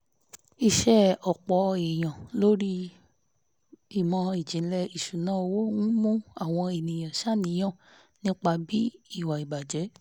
iṣẹ́ ọ̀pọ̀ èèyàn lórí ìmọ̀-ìjìnlẹ̀ ìṣúnná owó ń mú àwọn èèyàn ṣàníyàn nípa ibi ìwà ìbàjẹ́